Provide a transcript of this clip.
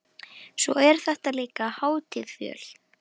Og svo er þetta líka hátíð fjöl